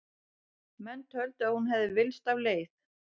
Menn töldu að hún hefði villst af leið.